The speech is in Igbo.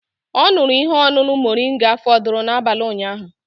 Ọ ṅụrụ ihe ọṅụṅụ moringa fọdụrụ n'abalị ụnyaahụ